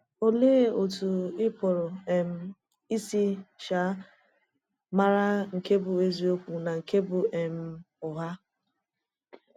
Olèe otú ì pụrụ um isi um màrà nke bụ èzìokwu na nke bụ um ụgha?